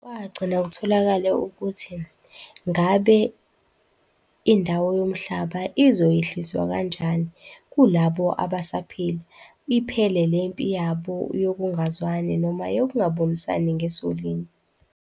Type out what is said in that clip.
Kwagcina kutholakale ukuthi ngabe indawo yomhlaba izoyehliswa kanjani kulabo abasaphila, iphele le mpi yabo yokungazwani noma yokungabonisani ngesolinye.